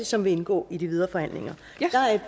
som vil indgå i de videre forhandlinger